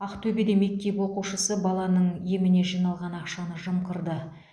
ақтөбеде мектеп оқушысы баланың еміне жиналған ақшаны жымқырды